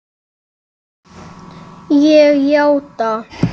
Ég játa.